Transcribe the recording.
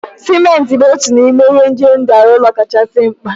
Simenti bụ otu n'ime ihe ndị eji arụ ụlọ kachasị mkpa